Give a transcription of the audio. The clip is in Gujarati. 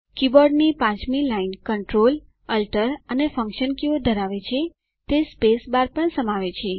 કીબોર્ડની પાંચમી લાઈન Ctrl Alt અને ફન્કશન કીઓ ધરાવે છે તે સ્પેસબાર પણ સમાવે છે